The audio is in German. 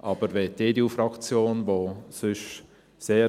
Aber wenn die EDU-Fraktion, die sonst auch sehr